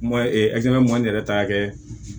Ma ma ne yɛrɛ ta kɛ